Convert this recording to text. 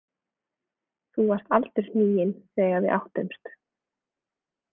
Þú varst aldurhniginn þegar við áttumst.